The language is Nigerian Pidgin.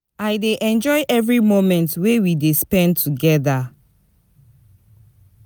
I dey enjoy every moment wey we dey spend together.